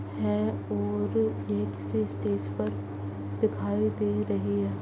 है और next stage पर दिखाई दे रही है |